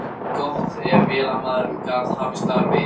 Þótti gott ef vélamaðurinn gat hafst þar við.